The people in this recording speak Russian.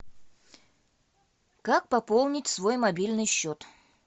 как пополнить свой мобильный счет